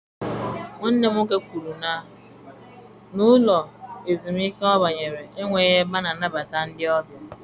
Nwanne m nwoke kwuru na ụlọ ezumike ọ banyere enweghị ebe a na-anabata ndị ọbịa.